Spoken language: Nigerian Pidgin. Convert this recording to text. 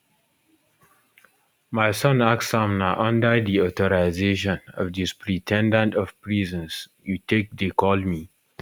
my son ask am na under di authorization of di superin ten dent of prisons you take dey call me